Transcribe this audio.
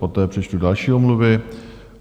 Poté přečtu další omluvy.